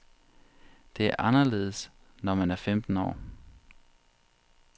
Det er anderledes, når man er femten år.